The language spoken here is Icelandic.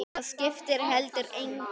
Það skipti heldur engu.